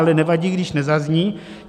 Ale nevadí, když nezazní.